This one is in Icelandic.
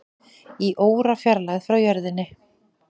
Í órafjarlægð frá jörðinni